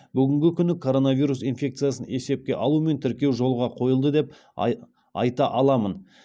бүгінгі күні коронавирус инфекциясын есепке алу мен тіркеу жолға қойылды деп айта аламын